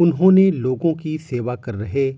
उन्होंने लोगों की सेवा कर रहे